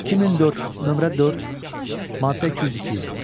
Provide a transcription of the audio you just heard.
2004, nömrə 4, maddə 202.